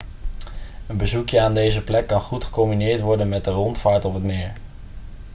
een bezoekje aan deze plek kan goed gecombineerd worden met een rondvaart op het meer